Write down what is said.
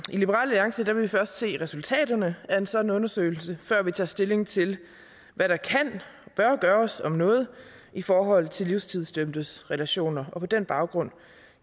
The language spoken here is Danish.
liberal alliance vil vi først se resultaterne af en sådan undersøgelse før vi tager stilling til hvad der kan og bør gøres om noget i forhold til livstidsdømtes relationer og på den baggrund